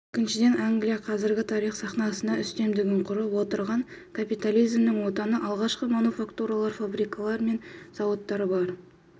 екіншіден англия қазіргі тарих сахнасында үстемдігін құрып отырған капитализмнің отаны алғашқы мануфактуралар фабрикалар мен зауыттар бу